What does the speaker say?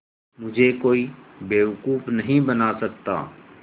मुझे कोई बेवकूफ़ नहीं बना सकता